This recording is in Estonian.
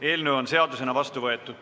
Eelnõu on seadusena vastu võetud.